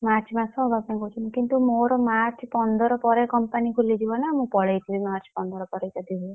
March ମାସ ହବା ପାଇଁ କହୁଛନ୍ତି କିନ୍ତୁ ମୋର March ପନ୍ଦର ପରେ company ଖୋଲିଯିବ ନା ମୁଁ ପଳେଇ ଯିବି March ପନ୍ଦର ପରେ ଯଦି ହୁଏ।